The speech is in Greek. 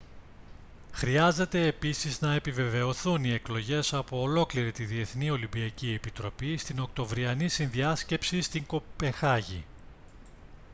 χρειάζεται επίσης να επιβεβαιωθούν οι εκλογές από ολόκληρη την διεθνή ολυμπιακή επιτροπή στην οκτωβριανή συνδιάσκεψη στην κοπεγχάγη